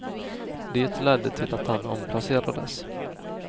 Det ledde till att han omplacerades.